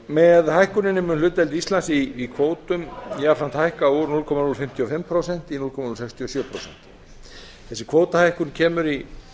með hlutdeild íslands í kvótum jafnframt hækka úr núll komma núll fimmtíu og fimm prósent í núll komma núll sextíu og sjö prósent þessi kvótahækkun kemur í